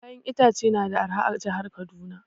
Kayan itace na da arha a jihar Kaduna